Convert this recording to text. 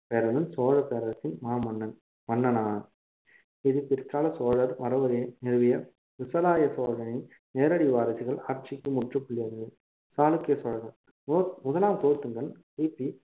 சோழ பேரரசின் மாமன்னன் மன்னனா~ இது பிற்கால சோழர் மரபுவழியை நிறுவிய விசயாலய சோழனின் நேரடி வாரிசுகள் ஆட்சிக்கு முற்றுப்புள்ளி சாளுக்கிய சோழர்கள் குலோ~ முதலாம் குலோத்துங்கன் கிபி